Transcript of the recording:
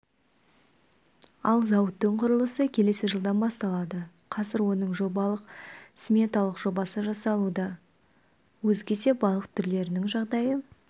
ал зауыттың құрылысы келесі жылдан басталады қазір оның жобалық-сметалық жобасы жасалуда өзге де балық түрлерінің жағдайы